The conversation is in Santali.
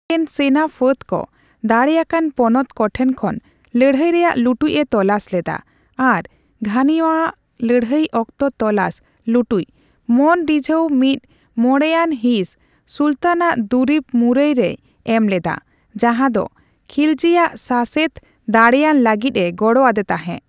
ᱟᱡᱨᱮᱱ ᱥᱮᱱᱟᱯᱷᱟᱹᱫ ᱠᱚ ᱫᱟᱲᱮᱭᱟᱠᱟᱱ ᱯᱚᱱᱚᱛ ᱠᱚᱴᱷᱮᱱ ᱠᱷᱚᱱ ᱞᱟᱹᱲᱦᱟᱹᱭ ᱨᱮᱭᱟᱜ ᱞᱩᱴᱡ ᱮ ᱛᱚᱞᱟᱥ ᱞᱮᱫᱟ ᱟᱨ ᱜᱷᱟᱱᱤᱢᱟᱣᱟᱜ (ᱞᱟᱹᱲᱦᱟᱹᱭ ᱚᱠᱛᱚ ᱛᱚᱞᱟᱥ ᱞᱩᱴᱩᱡ) ᱢᱚᱱᱮ ᱨᱤᱡᱷᱟᱹᱣ (ᱢᱤᱫᱼᱢᱚᱬᱮᱭᱟᱱ ᱦᱤᱸᱥ) ᱥᱩᱞᱛᱟᱱᱟᱜ ᱫᱩᱨᱤᱵ ᱢᱩᱨᱟᱹᱭ ᱨᱮᱭ ᱮᱢ ᱞᱮᱫᱟ, ᱡᱟᱦᱟᱫᱚ ᱠᱷᱤᱞᱡᱤᱭᱟᱜ ᱥᱟᱥᱮᱛ ᱫᱟᱲᱮᱭᱟᱱ ᱞᱟᱹᱜᱤᱫ ᱮ ᱜᱚᱲᱚ ᱟᱫᱮ ᱛᱟᱦᱮᱸ ᱾